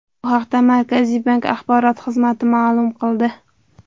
Bu haqda Markaziy bank axborot xizmati ma’lum qildi .